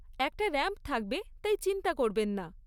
একটা র‍্যাম্প থাকবে, তাই চিন্তা করবেন না।